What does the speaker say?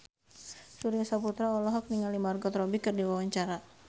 Surya Saputra olohok ningali Margot Robbie keur diwawancara